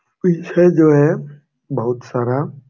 पीछे जो है बहुत सारा--